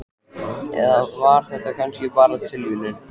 Eða var þetta kannski bara tilviljun?